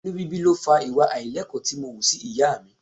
Inú bíbí ló fa ìwà àìlẹ́kọ̀ọ́ tí mo wù sí ìyá mi.